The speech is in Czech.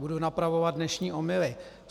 Budu napravovat dnešní omyly...